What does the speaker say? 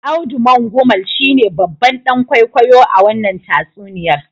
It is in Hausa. Audu Mangumal shine babban dan kwaikwayo a wannan tatsuniyar.